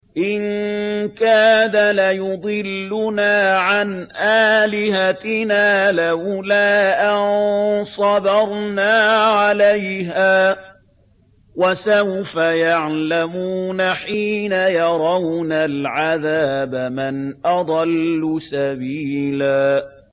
إِن كَادَ لَيُضِلُّنَا عَنْ آلِهَتِنَا لَوْلَا أَن صَبَرْنَا عَلَيْهَا ۚ وَسَوْفَ يَعْلَمُونَ حِينَ يَرَوْنَ الْعَذَابَ مَنْ أَضَلُّ سَبِيلًا